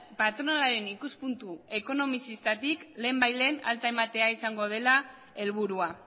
patronalaren ikuspuntu ekonomizistatik lehenbailehen alta ematea izango dela helburua